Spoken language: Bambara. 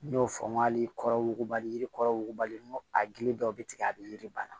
N y'o fɔ n ko hali kɔrɔbali yiri kɔrɔ wugubalen n ko a gili dɔ bɛ tigɛ a bɛ yiri bana